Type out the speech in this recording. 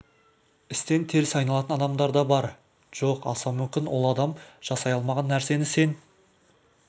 істен теріс айналатын адамдар да бар жоқ жаса мүмкін ол адам жасай алмаған нәрсені сен